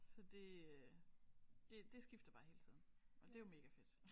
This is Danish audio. Så det øh det det skifter bare hele tiden og det er jo mega fedt